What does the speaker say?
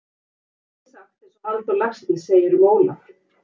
Samt get ég sagt einsog Halldór Laxness segir um Ólaf